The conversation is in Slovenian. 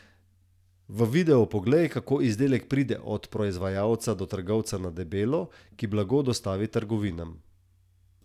V videu poglej, kako izdelek pride od proizvajalca do trgovca na debelo, ki blago dostavi trgovinam.